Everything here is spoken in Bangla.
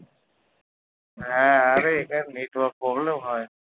হ্যাঁ আরে এখানে network problem হয়